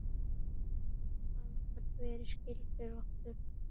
Hann gat verið skyldur okkur.